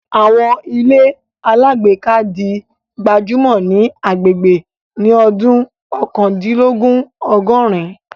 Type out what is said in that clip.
Àwọn ilé alágbèéká di gbajúmọ̀ ní agbègbè ní ọdún Oókandínlogún Ọgọ̀rin